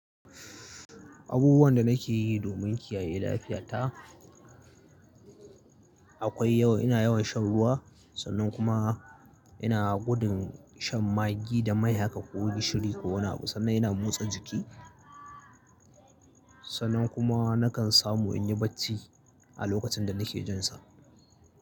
Abubuwan da nake yi domin kiyaye lafiyata akwai yawa. Ina yawan shan ruwa, sannan kuma ina gudun shan maggi da mai haka ko gishiri ko wani abu. Sannan ina motsa jiki, sannan kuma nakan samu in yi bacci a lokacin da nake jin sa.